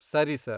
ಸರಿ ಸರ್.